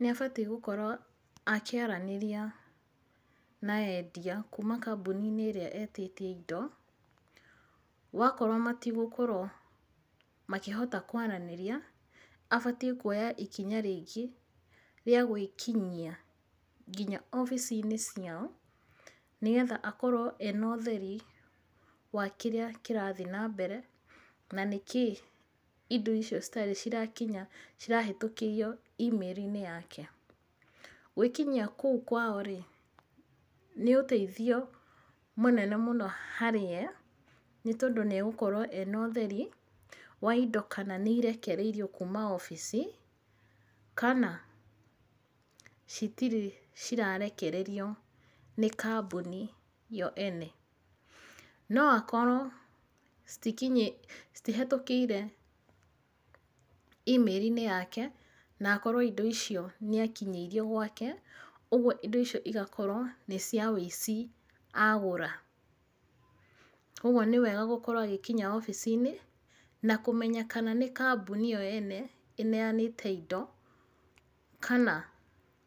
Nĩ abatiĩ gũkorwo akĩaranĩria na endia kuuma kambuni-inĩ ĩrĩa etĩtie indo gwakorwo matigũkorwo makĩhota kwaranĩria, abatiĩ kuoya ikinya rĩngĩ rĩa gwĩkinyia nginya ofici-inĩ ciao. Nĩgetha akorwo ena ũtheri wa kĩrĩa kĩrathiĩ nambere na nĩkĩĩ indo icio citarĩ cirakinya cirahĩtũkĩrio email inĩ yake. Gwĩkinyia kũu kwao rĩ nĩ ũteithio mũnene mũno harĩ we nĩ tondũ nĩ egũkorwo ena ũtheri wa indo kana nĩ irekereirio kuuma ofici kana citirĩ cirarekererio nĩ kambuni yo ene. No akorwo citihĩtũkĩire email inĩ yake na akorwo indo icio nĩ akinyĩirio gwake, ũguo indo icio cigakorwo nĩ cia ũici agũra. Koguo nĩ wega gũkorwo agĩkinya ofici-inĩ na kũmenya kana nĩ kambuni ĩyo ene ĩneanĩte indo kana